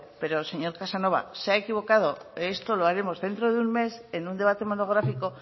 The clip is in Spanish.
pero señor casanova se ha equivocado esto lo haremos dentro de un mes en un debate monográfico